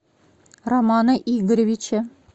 романа игоревича